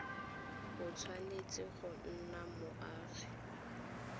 o tshwanetse go nna moagi